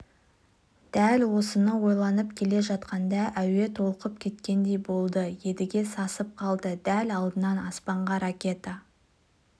дәл осыны ойланып келе жатқанда әуе толқып кеткендей болды едіге сасып қалды дәл алдынан аспанға ракета